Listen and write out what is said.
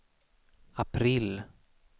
april